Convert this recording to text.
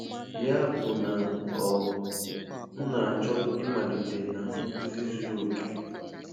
Ya bụ na um m na-achọ ịmalite na nkuzi zuru oke.